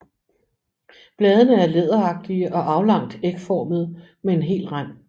Bladene er læderagtige og aflangt ægformede med hel rand